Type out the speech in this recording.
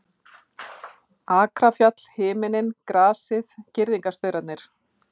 Akrafjall, himinninn, grasið, girðingarstaurarnir.